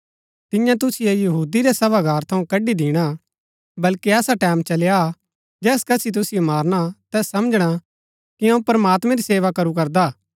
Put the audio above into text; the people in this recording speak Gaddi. तियां तुसिओ यहूदी रै सभागार थऊँ कड़ी दिणा बल्कि ऐसा टैमं चली आ हा जैस कसी तुसिओ मारणा तैस समझणा कि अऊँ प्रमात्मैं री सेवा करू करदा हा